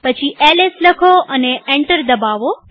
પછી એલએસ લાખો અને એન્ટર દબાવો